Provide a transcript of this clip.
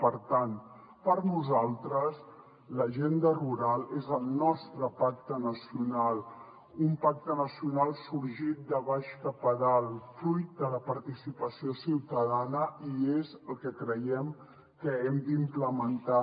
per tant per nosaltres l’agenda rural és el nostre pacte nacional un pacte nacional sorgit de baix cap a dalt fruit de la participació ciutadana i és el que creiem que hem d’implementar